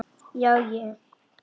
Já, ég.